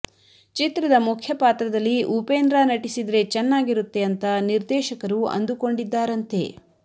ಚಿತ್ರದ ಮುಖ್ಯ ಪಾತ್ರದಲ್ಲಿ ಉಪೇಂದ್ರ ನಟಿಸಿದ್ರೆ ಚೆನ್ನಾಗಿರುತ್ತೆ ಅಂತ ನಿರ್ದೇಶಕರು ಅಂದುಕೊಂಡಿದ್ದಾರಂತೆ